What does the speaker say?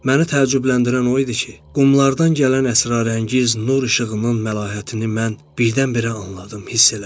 Məni təəccübləndirən o idi ki, qumlardan gələn əsrarəngiz nur işığının məlahətini mən birdən-birə anladım, hiss elədim.